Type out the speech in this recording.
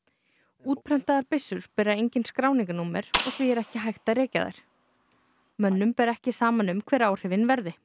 útprentaðar byssur bera engin skráningarnúmer og því er ekki hægt að rekja þær mönnum ber ekki saman um hver áhrifin verði